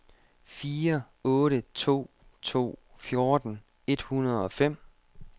fire otte to to fjorten et hundrede og fem